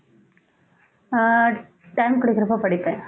அஹ் time கிடைக்கறப்ப படிப்பேன்